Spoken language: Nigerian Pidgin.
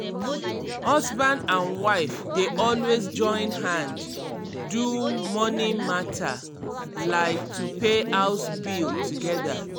husband and wife dey always join hand do money mata like to pay house bill together.